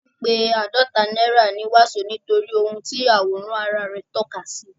A ń pé àádọta náírà ní wàsó nítorí ohun tí àwòrán ara rẹ̀ tọ́ka sí.